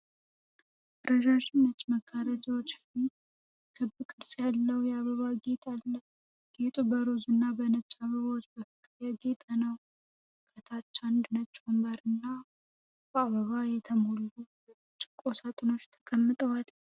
ረዣዥም ነጭ መጋረጃዎች ፊት ክብ ቅርጽ ያለው የአበባ ጌጥ አለ። ጌጡ በሮዝ እና በነጭ አበባዎች በፍቅር ያጌጠ ነው። ከታች አንድ ነጭ ወንበርና በአበባ የተሞሉ የብርጭቆ ሳጥኖች ተቀምጠዋል።